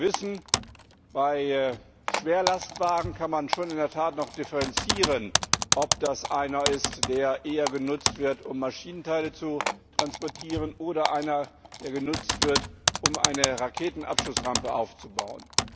Wir wissen, dass man bei Schwerlastwagen in der Tat noch differenzieren kann, ob das einer ist, der eher genutzt wird, um Maschinenteile zu transportieren, oder einer, der genutzt wird, um eine Raketenabschussrampe aufzubauen.